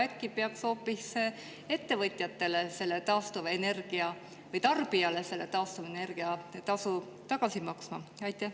Äkki peaks tarbijale selle taastuvenergia tasu hoopis tagasi maksma?